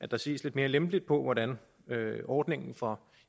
der ses lidt mere lempeligt på hvordan ordningen for